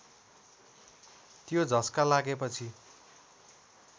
त्यो झस्का लागेपछि